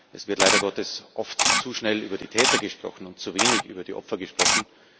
Es wird leider Gottes oft zu schnell über die Täter und zu wenig über die Opfer gesprochen.